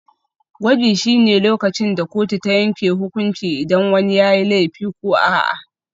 Gwaji shine lokacin da kotu ta yanke hukunci idan wani yayi laifi ko a'a.